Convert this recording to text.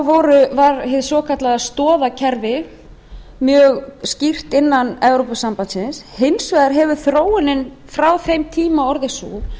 þá var hið svokallaða stoðakerfi mjög skýrt innan evrópusambandsins hins vegar hefur þróunin frá þeim tíma orðið sú